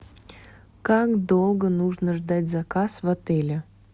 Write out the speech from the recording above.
как долго нужно ждать заказ в отеле